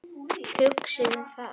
Hugsið um það.